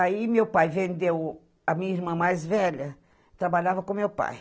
Aí, meu pai vendeu a minha irmã mais velha, trabalhava com meu pai.